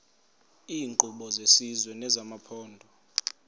iinkqubo zesizwe nezamaphondo